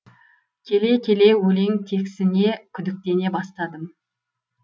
келе келе өлең тексіне күдіктене бастадым